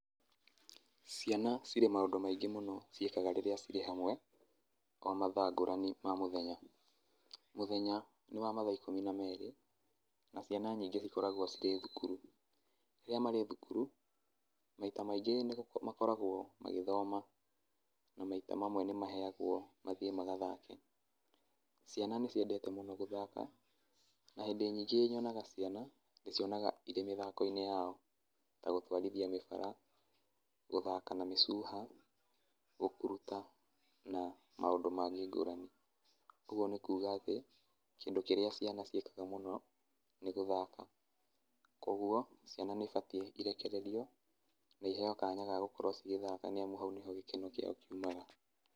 Ciana cirĩ maũndũ maingĩ mũno ciĩkaga rĩrĩa cirĩ hamwe, o mathaa ngũrani ma mũthenya. Mũthenya nĩ wa mathaa ikũmi na merĩ, na ciana nyingĩ cikoragwo cirĩ thuuru. Rĩrĩa marĩ thukuru, maita maingĩ makoragwo magĩthoma, na maita mamwe nĩmaheagwo mathiĩ magathake. Ciana nĩciendete mũno gũthaka na hĩndĩ nyingĩ nyonaga ciana, ndĩcionaga irĩ mĩthako-inĩ yao, ta gũtwarithia mĩbara, gũthaka na mĩcuha, gũkuruta na maũndũ mangĩ ngũrani. Ũguo nĩ kuga atĩ, kĩndũ kĩrĩa ciana ciĩkaga mũno nĩ gũthaka, kuoguo ciana nĩibatiĩ irekererio na iheo kanya ga gũkorwo cigĩthaka nĩamu hau nĩho gĩkeno kĩao kiumaga.